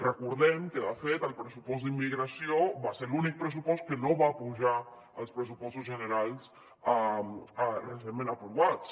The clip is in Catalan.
recordem que de fet el pressupost d’immigració va ser l’únic pressupost que no va pujar als pressupostos generals recentment aprovats